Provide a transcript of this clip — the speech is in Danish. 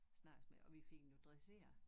Snakke med og vi fik den dresseret